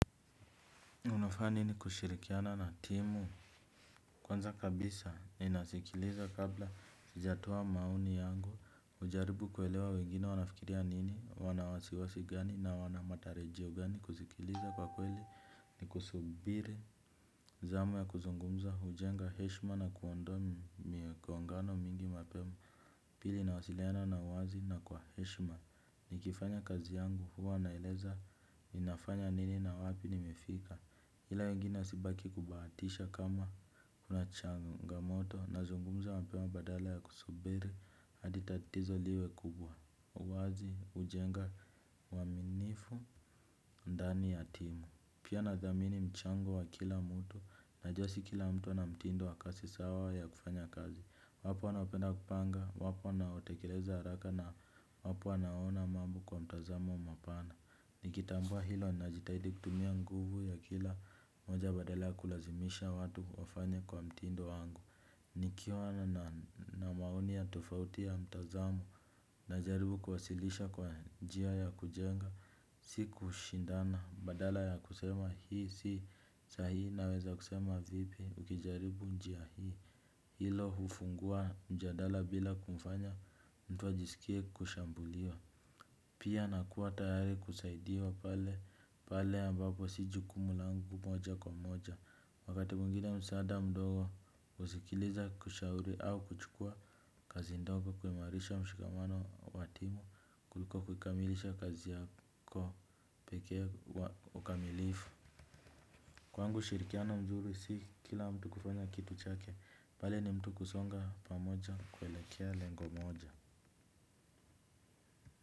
Unafanya nini kushirikiana na timu. Kwanza kabisa ninasikiliza kabla sijatoa maoni yangu najaribu kuelewa wengine wanafikiria nini wana wasiwasi gani na wana matarajio gani kusikiliza kwa kweli ni kusubiri zamu ya kuzungumza hujenga heshima na kuondoa migongano mingi mapema. Pili, nawasiliana na wazi na kwa heshima. Nikifanya kazi yangu, huwa naeleza ninafanya nini na wapi nimefika. Ila wengine wasibaki kubahatisha kama kuna changangamoto nazungumza mapema badala ya kusubiri hadi tatizo liwe kubwa. Uwazi hujenga uaminifu ndani ya timu. Pia nathamini mchango wa kila mtu najua si kila mtu na mtindo wa kasi sawa ya kufanya kazi. Wapo wanaopenda kupanga, wapo wanaotekeleza haraka na wapo wanao ona mambo kwa mtazamo mapana. Nikitambua hilo najitahidi kutumia nguvu ya kila mmoja badala ya kulazimisha watu kufanya kwa mtindo wangu. Nikiwa na maoni ya tofauti ya mtazamo najaribu kuwasilisha kwa njia ya kujenga. Si kushindana, badala ya kusema hii si sahihi, naweza kusema vipi ukijaribu njia hii. Hilo hufungua mjadala bila kumfanya mtu ajisikie kushambuliwa. Pia nakuwa tayari kusaidiwa pale ambapo si jukumu langu moja kwa moja. Wakati mwingine msaada mdogo husikiliza kushauri au kuchukua kazi ndogo kuimarisha mshikamano wa timu kuliko kukamilisha kazi yako pekee wa ukamilifu. Kwangu ushirikiano mzuri si kila mtu kufanya kitu chake, pale ni mtu kusonga pamoja kuelekea lengo moja.